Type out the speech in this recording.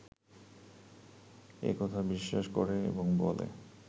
এ কথা বিশ্বাস করে এবং বলে